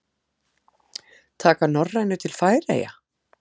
Taka Norrænu til Færeyja?